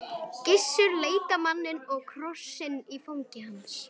Gissur leit á manninn og krossinn í fangi hans.